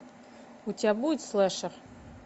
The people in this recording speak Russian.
у тебя будет слэшер